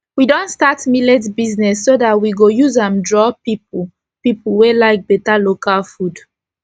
we don start millet business so dat we go use an draw pipu pipu wey like beta local food